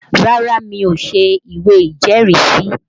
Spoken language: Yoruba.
Rárá mi ò ṣe ìwé ìjẹ́rìísí